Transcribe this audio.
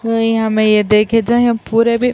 ہمم یہا دیکھ جا پورے مے --